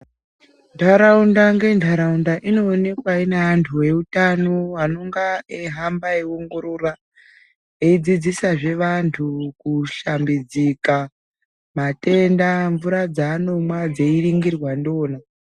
Ndaraunda nge ndaraunda ino onekwa ine antu e utano anonga eyi hamba eyi ongorora eyi dzidzisa zve vantu ku shambidzika matenda mvura dza anomwa dzei ningirwa ndiona.